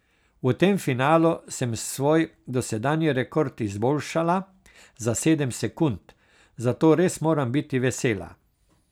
V tem finalu sem svoj dosedanji rekord izboljšala za sedem sekund, zato res moram biti vesela.